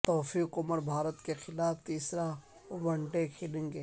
توفیق عمر بھارت کے خلاف تیسرا ون ڈے کھلیں گے